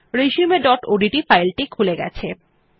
resumeওডিটি ফাইল টি খুলে গেছে